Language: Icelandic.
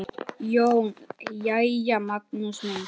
JÓN: Jæja, Magnús minn!